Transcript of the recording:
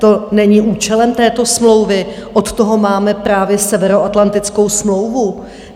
To není účelem této smlouvy, od toho máme právě Severoatlantickou smlouvu.